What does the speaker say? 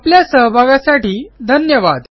आपल्या सहभागासाठी धन्यवाद